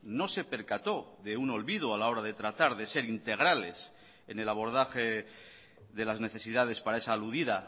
no se percató de un olvido a la hora de tratar de ser integrales en el abordaje de las necesidades para esa aludida